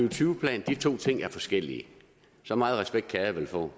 og tyve plan og de to ting er forskellige så meget respekt kan jeg vel få